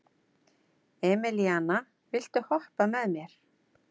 Emelíana, viltu hoppa með mér?